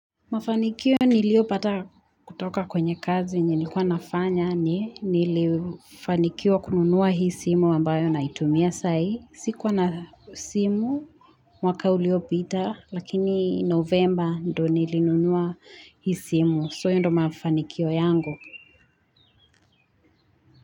Mafanikio niliopata kutoka kwenye kazi yenye nilikuwa nafanya nilifanikiwa kununuwa hii simu ambayo naitumia sai sikuwa na simu mwaka uliopita lakini novemba ndo nilinunuwa hii simu so hio ndo mafanikio yangu.